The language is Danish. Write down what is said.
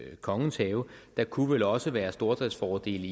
kongens have der kunne vel også være stordriftsfordele